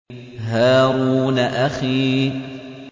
هَارُونَ أَخِي